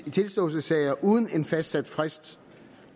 i tilståelsessager uden en fastsat frist